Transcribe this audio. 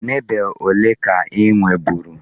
Marble one ka I nweburu?